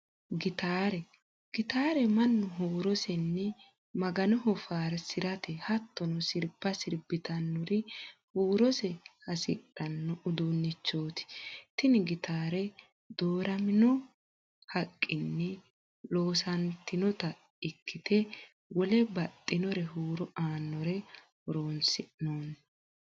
Gittaare, gittaare manu huurosenni maganoho faarisirate, hatonno siriba siribitanorri huurosse hosidhanno uduunichooti, tini gittare dooraminno haqinni loonsonitta ikkite wole baxinore huuro aanore horonsinonni